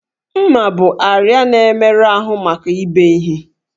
M̀mà bụ àrịá na-emerụ ahụ maka ibe ihe